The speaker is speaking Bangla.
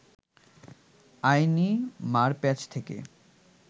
আইনি মারপ্যাঁচ থেকে